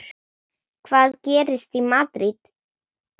Hvað gerist í Madríd?